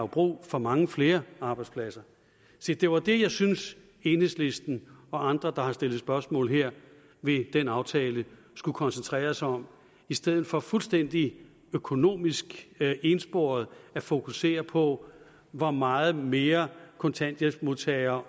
brug for mange flere arbejdspladser se det var det jeg synes at enhedslisten og andre der har stillet spørgsmål ved den aftale skulle koncentrere sig om i stedet for fuldstændig økonomisk ensporet at fokusere på hvor meget mere kontanthjælpsmodtagere